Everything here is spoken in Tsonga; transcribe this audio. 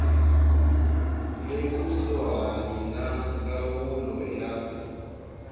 le kusuhani ya ndzawulo ya